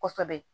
Kosɛbɛ